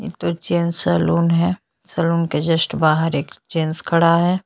ये तो gents salon है सलून के जस्ट बाहर एक जेंट्स खड़ा है।